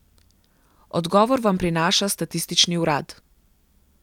Odgovor vam prinaša statistični urad.